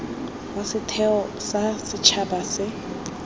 wa setheo sa setšhaba se